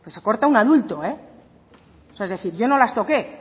que se corta un adulto es decir yo no las toqué